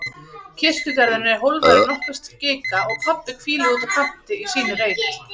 Kirkjugarðurinn er hólfaður í nokkra skika og pabbi hvílir úti á kanti í sínum reit.